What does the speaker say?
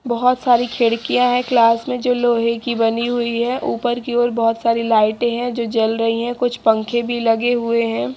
बहोत सारी खिड़कियां हैं क्लास में जो लोहे की बनी हुई हैं ऊपर की ओर बहोत सारी लाइटें हैं जो जल रही हैं कुछ पंखे भी लगे हुए हैं।